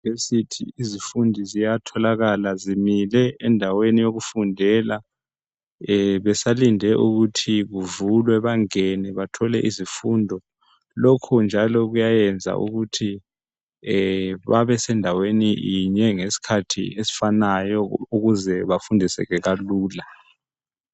Euniversity izifundi ziyatholakala zimile endaweni okufundela besalinde ukuthi kuvulwe bangene bathole izifundo lokho njalo kuyayenza ukuthi babesendaweni yinye ngesikhathi esifanayo ukuze bafundiseke kalula.